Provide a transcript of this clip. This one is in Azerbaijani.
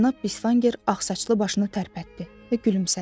Cənab Bisvanger ağsaçlı başını tərpətdi və gülümsədi.